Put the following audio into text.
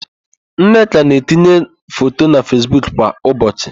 Nneka na-etinye foto na Fesbuk kwa ụbọchị.